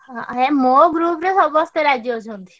ହ ହେ ମୋ group ରେ ସମସ୍ତେ ରାଜି ଅଛନ୍ତି।